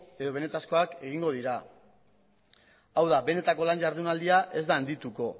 edo benetakoak egingo dira hau da benetako lan ihardunaldia ez da handituko